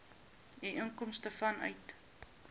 u inkomste vanuit